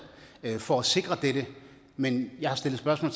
for at sikre dette men jeg har stillet spørgsmål